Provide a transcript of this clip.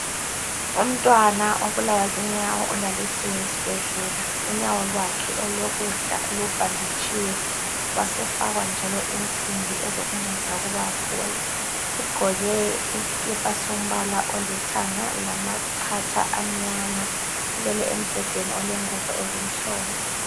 Umntwana obulawa zinyawo ulalisiwe esibhendlela. Unyawo lwakhe olokudla lubhaditshiwe wasefakwa njalo isimbi ezokunceda ukuba aphole. Ugqoke isikipa sombala olithanda lamacatha amnyama, ulele embedeni olengubo ezimhlophe.